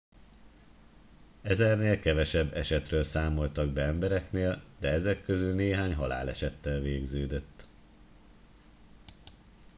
ezernél kevesebb esetről számoltak be embereknél de ezek közül néhány halálesettel végződött